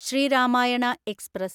Shri Ramayana express